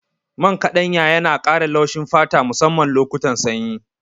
Man ƙaɗanya yana ƙara laushin fata musamman lokutan sanyi.